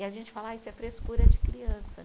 E a gente fala, ai isso é frescura de criança.